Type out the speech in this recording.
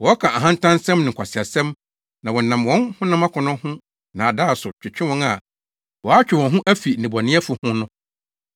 Wɔka ahantansɛm ne nkwaseasɛm na wɔnam wɔn honam akɔnnɔ ho nnaadaa so twetwe wɔn a wɔatwe wɔn ho afi nnebɔneyɛfo ho no.